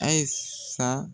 Ayisa